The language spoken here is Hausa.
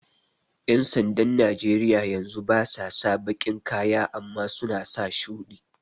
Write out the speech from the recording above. ƴan sandan Najeriya yanzu basa sa baƙin kaya amma suna sa shuɗi